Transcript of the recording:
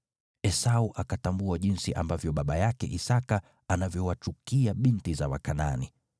Esau akatambua jinsi ambavyo baba yake Isaki anavyowachukia binti za Wakanaani.